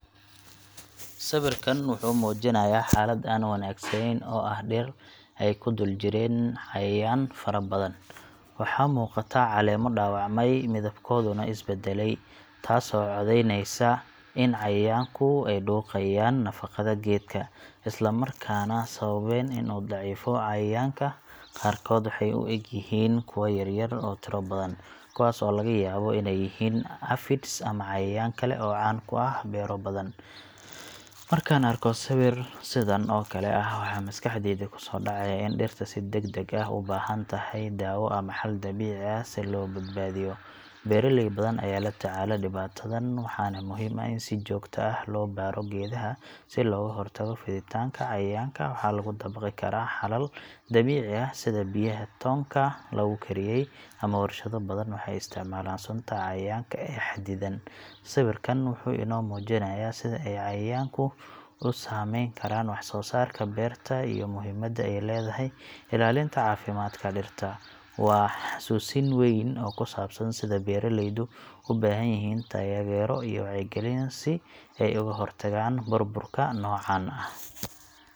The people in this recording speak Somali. Sawirkan wuxuu muujinayaa xaalad aan wanaagsanayn oo ah dhir ay ku dul jireen cayayaan fara badan. Waxaa muuqata caleemo dhaawacmay, midabkooduna is beddelay, taasoo caddeynaysa in cayayaanku ay dhuuqayaan nafaqada geedka, isla markaana sababeen in uu daciifo. Cayayaanka qaarkood waxay u eg yihiin kuwa yaryar oo tiro badan, kuwaas oo laga yaabo inay yihiin aphids ama cayayaan kale oo caan ku ah beero badan. Markaan arko sawir sidan oo kale ah, waxaa maskaxdayda ku soo dhacaya in dhirta si degdeg ah u baahan tahay daawo ama xal dabiici ah si loo badbaadiyo. Beeraley badan ayaa la tacaala dhibaatadan, waxaana muhiim ah in si joogto ah loo baadho geedaha si looga hortago fiditaanka cayayaanka. Waxaa lagu dabaqi karaa xalal dabiici ah sida biyaha toonka lagu kariyey, ama warshado badan waxay isticmaalaan sunta cayayaanka ee xadidan. Sawirkan wuxuu inoo muujinayaa sida ay cayayaanku u saamayn karaan wax-soosaarka beerta iyo muhiimadda ay leedahay ilaalinta caafimaadka dhirta. Waa xasuusin weyn oo ku saabsan sida beeraleydu u baahan yihiin taageero iyo wacyigelin si ay uga hortagaan burburka noocan ah.